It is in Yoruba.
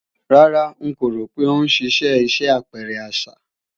Rárá, ń kò rò pé ó ń ṣì ṣe iṣẹ́ àpẹrẹ àṣà